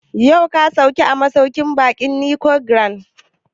Yau ka sauka a masauƙin baƙin Nicon Grand?